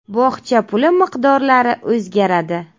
Bog‘cha puli miqdorlari o‘zgaradi.